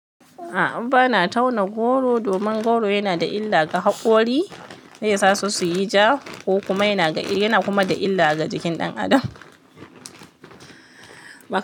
A'a bana tauna goro domin goro yana da illa ga haƙori, zaisa su suyi ja ko kuma yana da illa ga jikin ɗan adam.